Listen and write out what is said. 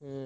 ହୁଁ